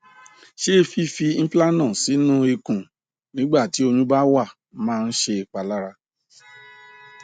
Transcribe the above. ṣé fífi implanon sínú ikùn nígbà tí oyún bá wà máa ń ṣèpalára